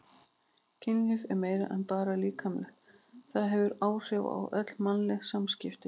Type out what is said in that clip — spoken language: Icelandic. Kynlíf er meira en bara líkamlegt, það hefur áhrif á öll mannleg samskipti.